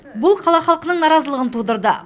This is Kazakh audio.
бұл қала халқының наразылығын тудырды